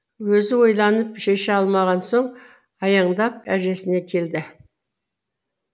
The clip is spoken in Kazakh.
өзі ойланып шеше алмаған соң аяңдап әжесіне келді